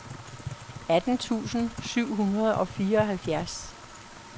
atten tusind syv hundrede og fireoghalvfjerds